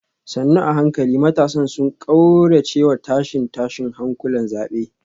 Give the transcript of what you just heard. sannu a hankali matasan sun kauracewa tashe-tashen hankulan zabe